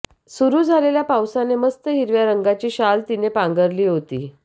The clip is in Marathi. सुरू झालेल्या पावसाने मस्त हिरव्या रंगाची शाल तिने पांघरली होती